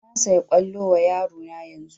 Na saya kwallo wa yaro na yanzun